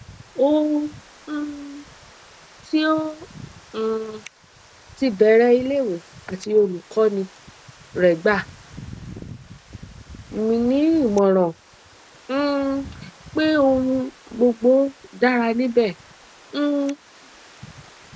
o um ti o um ti bẹrẹ ileiwe ati olukọni re gba mi ni imọran um pe ohun gbogbo dara nibẹ um